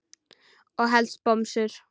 Og helst bomsur.